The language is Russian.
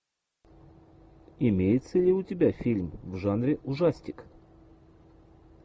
имеется ли у тебя фильм в жанре ужастик